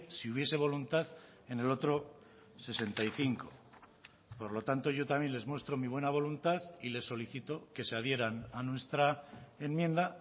si hubiese voluntad en el otro sesenta y cinco por lo tanto yo también les muestro mi buena voluntad y les solicito que se adhieran a nuestra enmienda